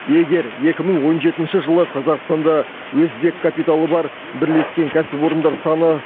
егер екі мың он жетінші жылы қазақстанда өзбек капиталы бар бірлескен кәсіпорындар саны